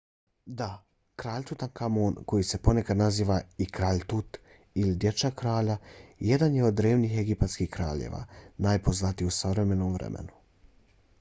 da! kralj tutankamon koji se ponekad naziva i kralj tut ili dječak-kralj jedan je od drevnih egipatskih kraljeva najpoznatiji u savremenom vremenu